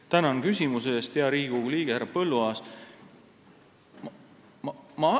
Tänan küsimuse eest, hea Riigikogu liige härra Põlluaas!